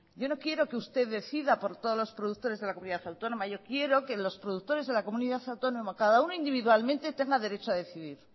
yo no quiero que usted decida por todos los productores de la comunidad autónoma yo quiero que los productores de la comunidad autónoma cada uno individualmente tenga derecho a decidir